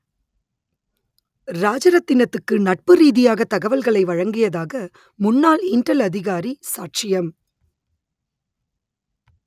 ராஜரத்தினத்துக்கு நட்பு ரீதியாக தகவல்களை வழங்கியதாக முன்னாள் இன்டெல் அதிகாரி சாட்சியம்